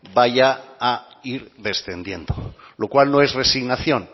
vaya a ir descendiendo lo cual no es resignación